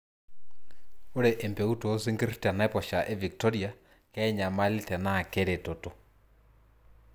ore empeut oo sinkir te naiposha e victori kenyaali tenaa keretotot?